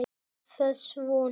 Er þess von?